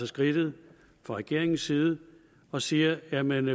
skridtet fra regeringens side og siger jamen